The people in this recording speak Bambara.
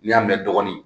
N'i y'a mɛn dɔɔnin